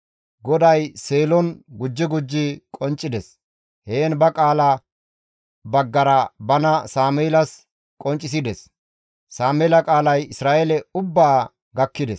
GODAY Seelon gujji gujji qonccides; heen ba qaala baggara bana Sameelas qonccisides. Sameela qaalay Isra7eele ubbaa gakkides.